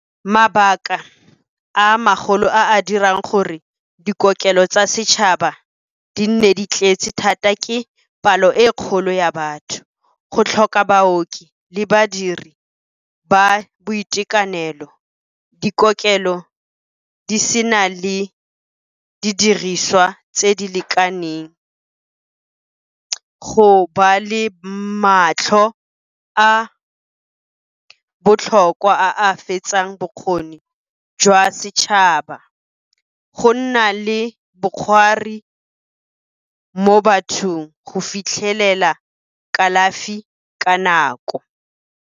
Mabaka a magolo a a dirang gore dikokelo tsa setšhaba di nne di tletse thata ke palo e kgolo ya batho, go tlhoka baoki le badiri ba boitekanelo, dikokelo di sena le didiriswa tse di lekaneng, go ba le matlho a botlhokwa a a fetsang bokgoni jwa setšhaba, go nna le bokgwari mo bathong go fitlhelela kalafi ka nako.